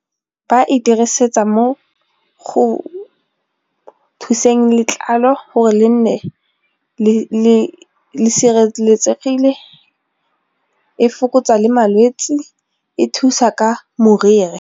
Ba e dirisetsa mo go thuseng letlalo gore le nne le sireletsegile, e fokotsa le malwetse, e thusa ka moriri.